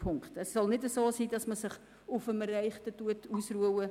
Man darf sich nicht auf dem Erreichten ausruhen.